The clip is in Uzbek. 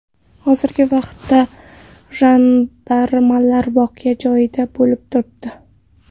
Hozirgi vaqtda jandarmlar voqea joyida bo‘lib turibdi.